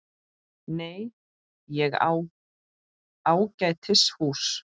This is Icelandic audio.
Nei, ég á ágætis hús.